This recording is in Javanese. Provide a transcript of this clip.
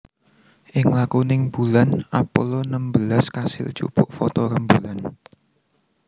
Ing laku ning Bulan Apollo enem belas kasil jupuk foto rembulan